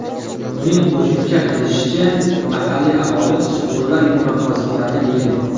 Uning qo‘shimcha qilishicha, mahalliy aholi sug‘urlar, yumronqoziqlarni yeydi.